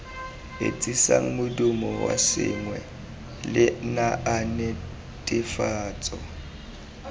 etsisang modumo wa sengwe lenaanenetefatso